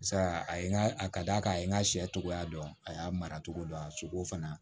Sa a ye n ka a d'a kan a ye n ka sɛ tɔgɔya dɔn a y'a mara cogo don a sogo fana